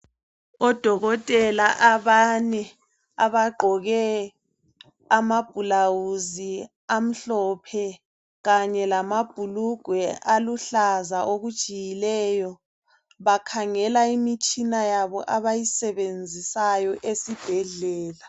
Odokotela abane abagqoke amablawuzi amhlophe kanye lamabhulugwe aluhlaza okujiyileyo bakhangela imitshina yabo abayisebenzayo esibhedlela.